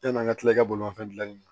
Yann'an ka tila ka bolimafɛn dilanni na